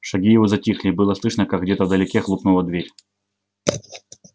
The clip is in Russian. шаги его затихли и было слышно как где-то вдалеке хлопнула дверь